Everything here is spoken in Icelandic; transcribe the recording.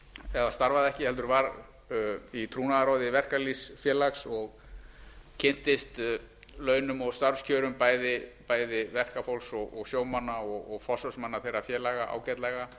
eða starfaði ekki heldur var í trúnaðarráði verkalýðsfélags og kynntist launum og starfskjörum bæði verkafólks og sjómanna og forsvarsmanna þeirra félaga ágætlega